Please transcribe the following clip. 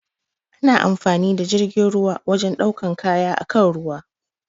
Ana amfani da jirgin ruwa wajen ɗaukan kaya akan ruwa.